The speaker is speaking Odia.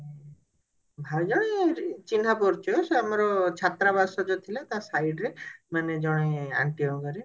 ଭାଇ ଆ ଚିହ୍ନା ପରିଚୟ ସେ ଆମର ଛତ୍ରାବାସ ଯଉ ଥିଲା ତା side ରେ ମାନେ ଜଣେ aunty ଙ୍କ ଘରେ